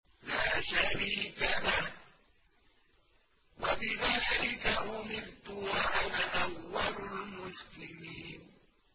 لَا شَرِيكَ لَهُ ۖ وَبِذَٰلِكَ أُمِرْتُ وَأَنَا أَوَّلُ الْمُسْلِمِينَ